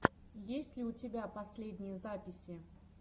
есть ли у тебя последние записи